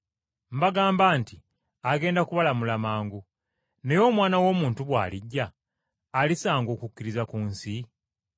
Mbagamba nti agenda kubalamula mangu. Naye Omwana w’Omuntu, bw’alijja, alisanga okukkiriza ku nsi?”